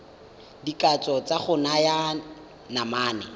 dikatso tsa go naya manane